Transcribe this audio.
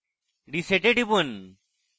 reset এ টিপুন